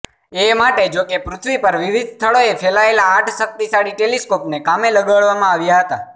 એ માટે જોકે પૃથ્વી પર વિવિધ સ્થળોએ ફેલાયેલા આઠ શક્તિશાળી ટેલિસ્કોપને કામે લગાડવામાં આવ્યા હતા